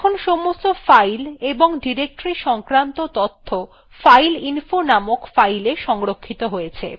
এখন সমস্ত files এবং ডিরেক্টরী সংক্রান্ত তথ্য files fileinfo named filesএ সংরক্ষিত হয়েছে